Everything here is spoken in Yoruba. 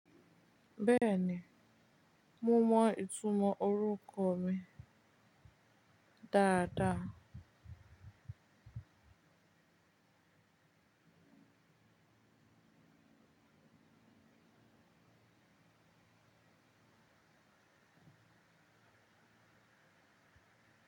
Bẹẹni, mo mọ ìtumọ̀ orúkọ mi dáadáa.